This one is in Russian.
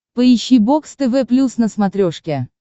поищи бокс тв плюс на смотрешке